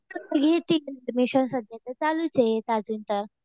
घेतील ऍडमिशन सध्या तर चालूच आहे अजून तर.